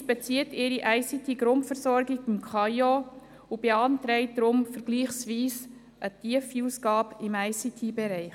Die Justiz bezieht ihre ICT-Grundversorgung beim KAIO und beantragt deshalb eine vergleichsweise tiefe Ausgabe im ICT-Bereich.